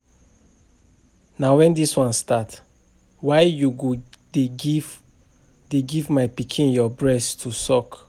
Na wen dis one start? Why you go dey give dey give my pikin your breast to suck?